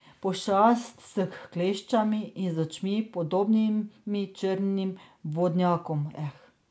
Pošast s kleščami in z očmi, podobnimi črnim vodnjakom.